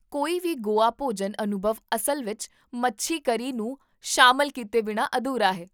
ਕੋਈ ਵੀ ਗੋਆ ਭੋਜਨ ਅਨੁਭਵ ਅਸਲ ਵਿੱਚ, ਮੱਛੀ ਕਰੀ ਨੂੰ ਸ਼ਾਮਲ ਕੀਤੇ ਬਿਨਾਂ ਅਧੂਰਾ ਹੈ